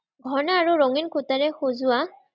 হৰনা আৰু ৰঙীন কুৰ্টাৰে সজোৱা